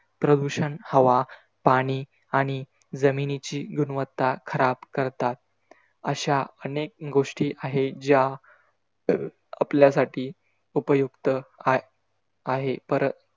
प्रदूषण हवा, पाणी आणि जमिनीची गुणवत्ता खराब करतात. अशा अनेक गोष्टी आहे ज्या, आपल्यासाठी उपयुक्तआहे. पर